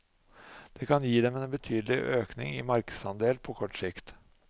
Det kan gi dem en betydelig økning i markedsandel på kort sikt.